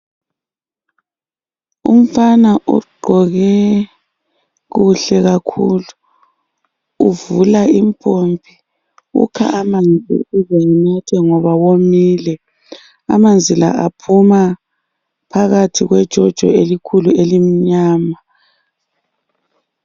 Umfana ugqoke kuhle kakhulu uvula impompi. Ukha amanzi ukuze enathe ngoba womile. Amanzi la aphuma phakathi kwejojo elikhulu elimnyama.